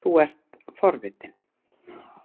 Þú ert forvitinn.